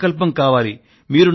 మీ సంకల్పం కావాలి